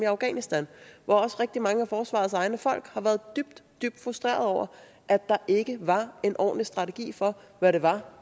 afghanistan hvor også rigtig mange af forsvarets egne folk har været dybt dybt frustrerede over at der ikke var en ordentlig strategi for hvad det var